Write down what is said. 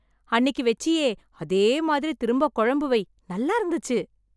அன்னைக்கு வச்சியே அதே மாதிரி திரும்ப குழம்பு வை நல்லா இருந்துச்சு.